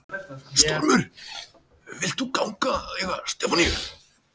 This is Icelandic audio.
Stormur, vilt þú ganga að eiga Stefaníu?